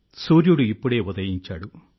సూర్యుడు ఇప్పుడే ఉదయించాడు